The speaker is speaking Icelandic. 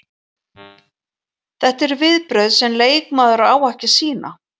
Þetta eru viðbrögð sem leikmaður á ekki að sýna.